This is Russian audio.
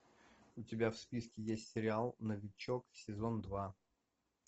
у тебя в списке есть сериал новичок сезон два